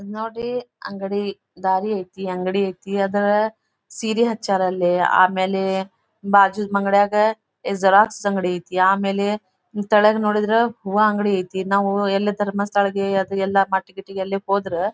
ನೋಡಿ ಅಂಗಡಿ ದಾರಿ ಐತಿ ಅಂಗಡಿ ಐತಿ ಆದ ಈ ಸೀರೆ ಹಚ್ಚಾರ್ ಅಲ್ಲಿ ಆಮೇಲೆ ಬಾಜುದ ಅಂಗಡ್ಯಾಗ ಜೆರಾಕ್ಸ್ ಅಂಗಡಿ ಐತಿ ಆಮೇಲೆ ಹಿಂಗ್ ತಳಗ ನೋಡಿದ್ರೆ ಹೂವಾ ಅಂಗಡಿ ಐತಿ ನಾವು ಎಲ್ಲಿ ಧರ್ಮಸ್ಥಳಕೆ ಅದು ಎಲ್ಲಾ ಎಲ್ಲಾ ಪಾರ್ಟಿ ಗಿಟಿಗ ಹೋದ್ರ--